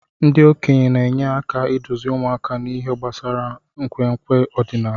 Ndị okenye na-enye aka iduzi ụmụaka n'ihe gbasara nkwenkwe ọdịnala.